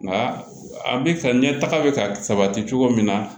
Nka a bɛ ka ɲɛ taga bɛ ka sabati cogo min na